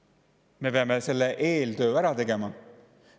Me peame selle eeltöö ära tegema.